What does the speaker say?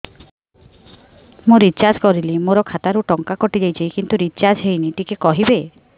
ମୁ ରିଚାର୍ଜ କରିଲି ମୋର ଖାତା ରୁ ଟଙ୍କା କଟି ଯାଇଛି କିନ୍ତୁ ରିଚାର୍ଜ ହେଇନି ଟିକେ କହିବେ